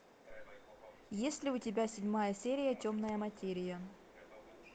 есть ли у тебя седьмая серия темная материя